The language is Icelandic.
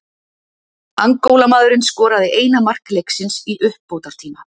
Angólamaðurinn skoraði eina mark leiksins í uppbótartíma.